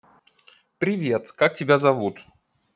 привет как тебя зовут